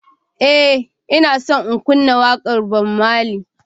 Ee, Ina so in kunna waƙar Bob Marley.